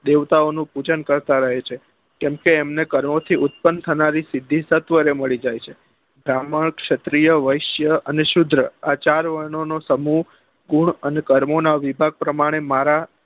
દેવતા ઓ નું પૂજન કરતા રહે છે કેમ કે એમને કર્મો થી ઉતપન્ન થનારી સિદ્ધિ તત્વ ને મળી જાય છે ભ્રામણ ક્ષત્રીય વસ્ય અને શ્યુત્ર આ ચાર વર્ણો નો સમૂહ ગુણ અને કર્મો નાં વિભાગ પ્રમાણે મારા